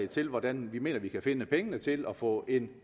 til hvordan vi mener vi kan finde penge til at få en